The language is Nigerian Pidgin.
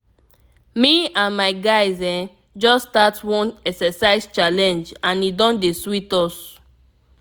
me and my guys ehm just start one exercise challenge and e don dey sweet us.